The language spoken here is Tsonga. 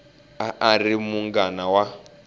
a a ri munghana wa